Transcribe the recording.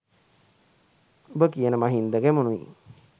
උඹ කියන මහින්ද ගැමුණුයි